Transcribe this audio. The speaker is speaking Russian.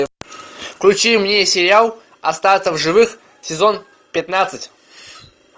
включи мне сериал остаться в живых сезон пятнадцать